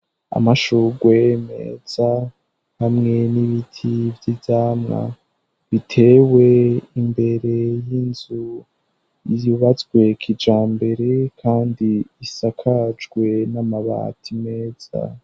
amashugwe meza hamwe n'ibiti vy'ivyamwa bitewe imbere y'inzu yubatswe kijambere kandi isakajwe n'amabati meza